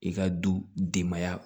I ka du denbaya